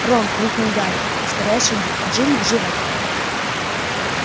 рон крикнул гарри ускоряя шаги джинни жива